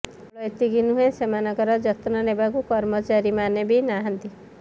କେବଳ ଏତିକି ନୁହେଁ ସେମାନଙ୍କର ଯତ୍ନ ନେବାକୁ କର୍ମଚାରୀମାନେ ବି ନାହାନ୍ତି